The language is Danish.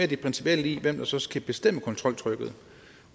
det principielle i hvem der så skal bestemme kontroltrykket